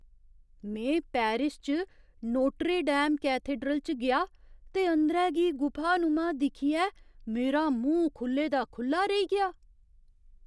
में पेरिस च Notre Dame cathedral च गेआ, ते अंदरै गी गुफानुमा दिक्खियै मेरा मूंह् खु'ल्ले दा खु'ल्ला रेही गेआ।